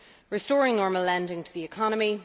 restoring normal lending to the economy